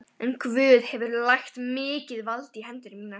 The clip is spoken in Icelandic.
En Guð hefur lagt mikið vald í hendur þínar.